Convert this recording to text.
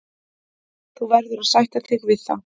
Þú verður að sætta þig við það.